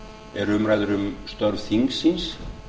eru umræður um störf þingsins